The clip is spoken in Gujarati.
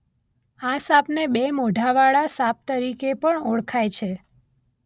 આ સાપને બે મોઢાવાળા સાપ તરીકે પણ ઓળખાય છે.